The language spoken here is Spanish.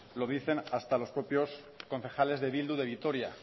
lo dicen hasta los propios concejales de bildu de vitoria